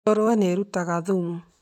Ngũrũwe nĩ ĩrutaga thumu.